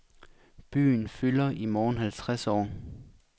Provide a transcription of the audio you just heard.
Byen fylder i morgen halvtreds år.